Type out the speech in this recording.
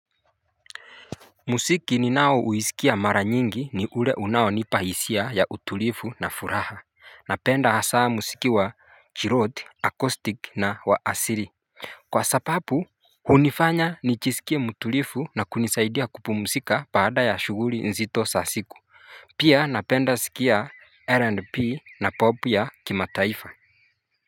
Musiki ni nao uisikia mara nyingi ni ule unaonipa hisia ya utulifu na furaha Napenda hasaa musiki wa chiroti, akostik na wa asiri Kwa sapapu hunifanya nichisikie mutulifu na kunisaidia kupumusika baada ya shuguri nzito sa siku Pia napenda sikia R&P na popu ya kimataifa.